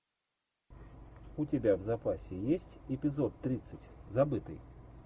у тебя в запасе есть эпизод тридцать забытый